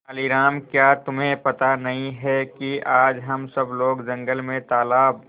तेनालीराम क्या तुम्हें पता नहीं है कि आज हम सब लोग जंगल में तालाब